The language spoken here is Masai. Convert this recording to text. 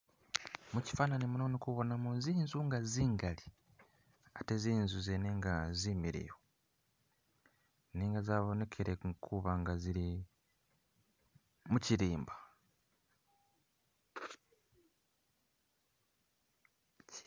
Mushifananyi muno indikubonamo zinzu nga zingali ate zinzu zene nga zimiliyu nenga zabonekele kuba nga zili mushilimba